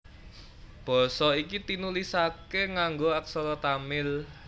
Basa iki tinulisaké nganggo aksara Tamil